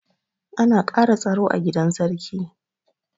An ƙara tsaro a gidan sarki.